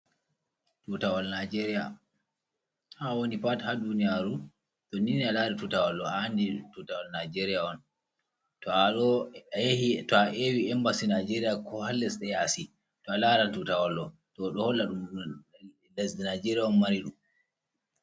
Tutawal nijeria ha awoni pat ha duniyaru tonnine a lari tutawal ɗo a'andi NI tutawal nijeria on, tow a ewi embasi nijeria ko hales ɗe yasi to a laran tutawal ɗo tow ɗoholla ɗum lesɗe nijeria on mariɗum.